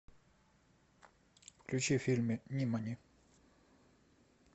включи фильм нимани